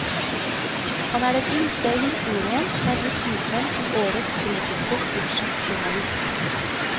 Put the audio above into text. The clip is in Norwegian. Han er den yngste i historien som er blitt utnevnt til årets britiske sportsjournalist.